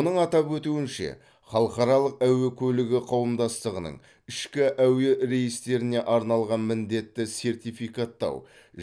оның атап өтуінше халықаралық әуе көлігі қауымдастығының ішкі әуе рейстеріне арналған міндетті сертификаттау